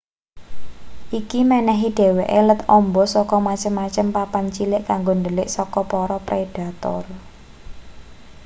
iki menehi dheweke let amba saka macem-macem papan cilik kanggo ndhelik saka para predator